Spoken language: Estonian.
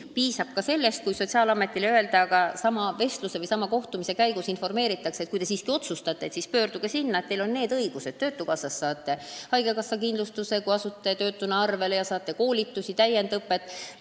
Piisab ka sellest, kui sotsiaalamet oma vestluse või kohtumise käigus informeerib noori nende õigustest, kui nad siiski otsustavad abi küsida, ja sellest, kuhu pöörduda: kui end töötuna arvele võtta, saab töötukassast haigekassa kindlustuse, samuti koolitusi, täiendusõpet.